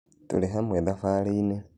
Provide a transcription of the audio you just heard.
Tũrĩ hamwe thabarĩinĩ.